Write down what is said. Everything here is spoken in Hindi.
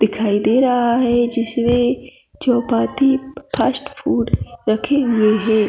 दिखाई दे रहा है जिसमें चौपाटी फास्ट फूड रखे हुए है।